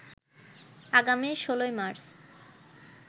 আগামী ১৬ মার্চ